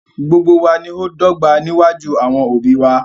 Gbogbo wa ní ọ dọ̀gbà níwájú àwọn obì wà